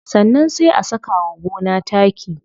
Sannan sai a saka wa gona taki.